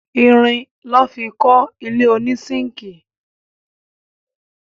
Irin lọ́ fi kọ́ ilé ònísínkìì